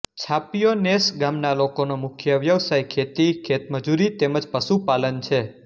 છાપીયો નેસ ગામના લોકોનો મુખ્ય વ્યવસાય ખેતી ખેતમજૂરી તેમ જ પશુપાલન છે